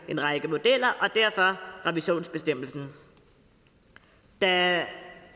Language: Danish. en række modeller og derfor revisionsbestemmelsen da